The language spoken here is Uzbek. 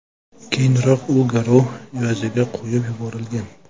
Keyinroq u garov evaziga qo‘yib yuborilgan .